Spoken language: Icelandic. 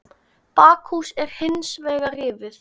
Bakhús er hins vegar rifið.